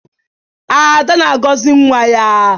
Ada na-agọzi nwa ya.